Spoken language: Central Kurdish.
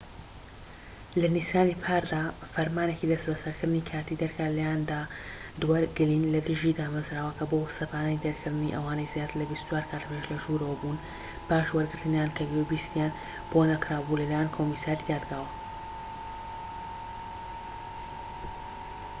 لە نیسانی پاردا، فەرمانێکی دەستبەسەرکردنی کاتیی دەرکرا لەلایەن دادوەر گلین لە دژی دامەزراوەکە بۆ سەپاندنی دەرکردنی ئەوانەی زیاتر لە ٢٤ کاتژمێر لەژوورەوە بوون پاش وەرگرتنیان کە گوێبیستییان بۆ نەکرابوو لەلایەن کۆمسیاری دادگاوە